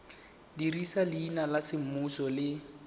dirisa leina la semmuso le